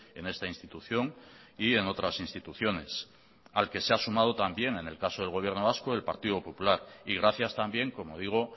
en esta institución y en otras instituciones al que se ha sumado también en el caso del gobierno vasco el partido popular y gracias también como digo